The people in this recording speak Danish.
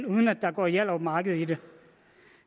uden at der går hjallerup marked i det